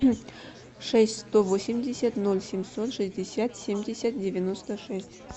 шесть сто восемьдесят ноль семьсот шестьдесят семьдесят девяносто шесть